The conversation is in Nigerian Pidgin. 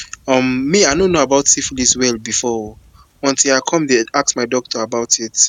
um me i no know about syphilis well before oo until i come the ask my doctor about it